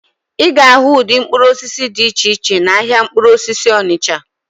Ị ga-ahụ ụdị mkpụrụ osisi dị iche iche n'ahịa mkpụrụ osisi Onịcha.